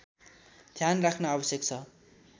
ध्यान राख्न आवश्यक छ